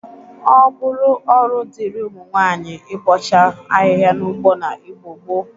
Ọ bụrụ ọrụ dịri ụmụnwaayi ịbọcha ahihia n'ugbo n'Igbo gboo.